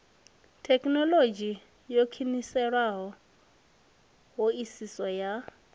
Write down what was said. thekhinolodzhi yo khwiniseaho hoisiso ya